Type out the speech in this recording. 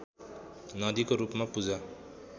नदीको रूपमा पूजा